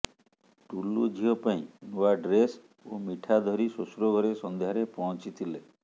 ଟୁଲୁ ଝିଅ ପାଇଁ ନୂଆ ଡ୍ରେସ ଓ ମିଠା ଧରି ଶ୍ୱଶୁର ଘରେ ସନ୍ଧ୍ୟାରେ ପହଞ୍ଚିଥିଲେ